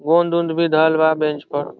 गोंद उन्दा भी धरल बा बेंच पर ।